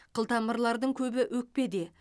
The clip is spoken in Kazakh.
қылтамырлардың көбі өкпеде